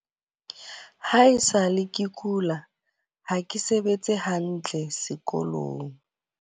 Ha e sa le ke kula, ha ke sebetse hantle sekolong.